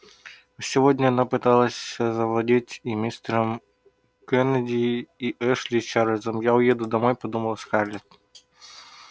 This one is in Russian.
а сегодня она пыталась завладеть и мистером кеннеди и эшли и чарлзом я уеду домой подумала скарлетт